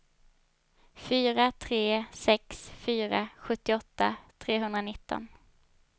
fyra tre sex fyra sjuttioåtta trehundranitton